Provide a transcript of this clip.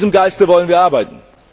In diesem Geiste wollen wir arbeiten!